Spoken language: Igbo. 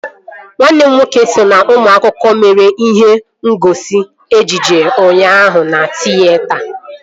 Nwanne m nwoke so na ụmụ akwụkwọ mere ihe ngosi ejije ụnyaahụ na tịyeta